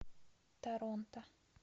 торонто